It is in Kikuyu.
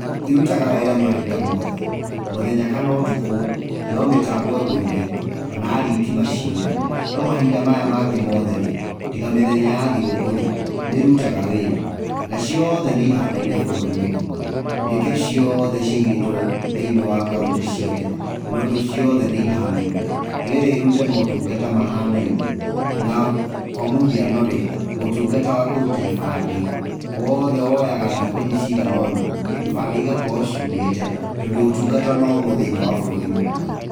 Ĩrutaga wĩra mahinda mothe, mũthenya kana ũtukũ no mĩtambo ĩgũire kana thitima ciũre no mahinda maya mangĩ mothe rĩ tiga mĩthenya ya thigũkũ rĩ nĩrũtaga wĩra naciothe nĩihanaine bũrũri mũgima nĩkĩo ciothe cĩigĩtwo thĩinĩ wa kauntĩ ciothe nĩũndũ ciothe nĩihanaine nĩgetha irute motungata mahanaine na kwa mũhiano rĩ ũtungata wa kũruta ibande wothe woyaga thikũ cigano na ibande ĩgakorwo ciũmĩte tondũ ũtungata nĩ ũmwe thĩiniĩ wa bũrũri mũgima .